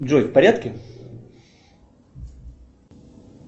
джой в порядке